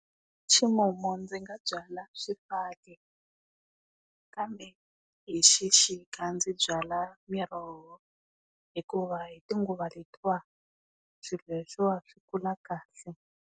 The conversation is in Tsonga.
Ximumu ndzi nga byala swifaki kambe hi Xixika ndzi byala miroho, hikuva hi tinguva letiwani swilo leswiwani swi kula kahle.